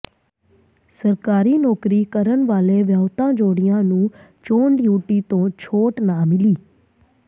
ਸਰਕਾਰੀ ਨੌਕਰੀ ਕਰਨ ਵਾਲੇ ਵਿਆਹੁਤਾ ਜੋੜਿਆਂ ਨੂੰ ਚੋਣ ਡਿਊਟੀ ਤੋਂ ਛੋਟ ਨਾ ਮਿਲੀ